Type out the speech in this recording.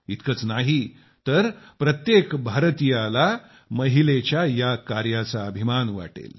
इतकंच नाही तर प्रत्येक हिंदुस्तानीला महिलेच्या या कार्याचा अभिमान वाटेल